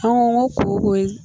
An ko n ko koyi